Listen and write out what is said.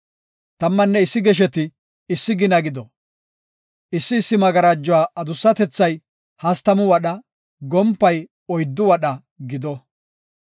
Tammanne issi gesheti issi gina gido; issi issi magarajuwa adussatethay hastamu wadha, gompay oyddu wadha gido.